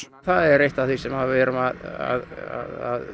það er eitt af því sem erum að